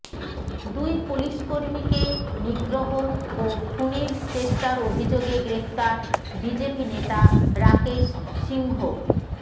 দুই পুলিশ কর্মীকে নিগ্রহ ও খুনের চেষ্টার অভিযোগে গ্রেফতার বিজেপি নেতা রাকেশ সিংহ